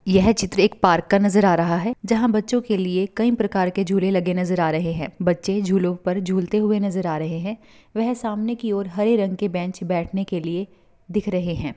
येह चित्र एक पार्क का नज़र आ रहा हे जहा बच्चो के लिए कई प्रकार के झूले लगे नज़र आ रहे हे बच्चे झूलो पर झूलते हुए नज़र आ रहे है वेह सामने की और हरे रंग के बेंच बेठने के लिए दिख रहे है।